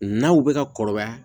N'aw bɛ ka kɔrɔbaya